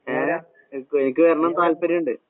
ഏ, എനിക്ക് വരണം എന്ന് താല്പര്യമുണ്ട്.